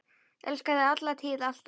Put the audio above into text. Elska þig, alla tíð, alltaf.